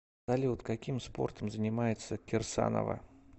салют каким спортом занимается кирсанова